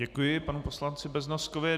Děkuji panu poslanci Beznoskovi.